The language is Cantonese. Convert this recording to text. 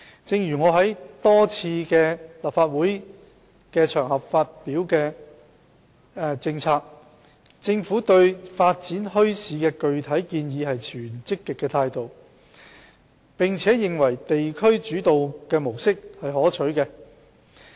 正如我多次在立法會場合發表的政策所指，政府對發展墟市的具體建議持積極態度，並且認為地區主導模式是可取的。